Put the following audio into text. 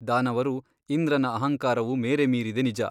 ದಾನವರು ಇಂದ್ರನ ಅಹಂಕಾರವು ಮೇರೆ ಮೀರಿದೆ ನಿಜ.